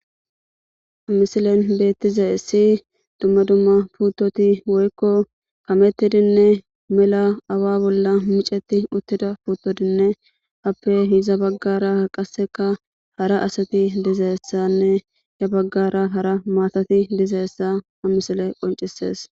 Amisilen beettize si dumma dumma puuttoti woykko kamettidinne mela awa bolla micetti uttida puuttodinne appe hiza baggaraqaseka hara asati dizayessanne hiza baggara hara maatati dizayessa amisile qoncisees.